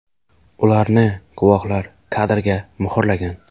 Ularni guvohlar kadrga muhrlagan.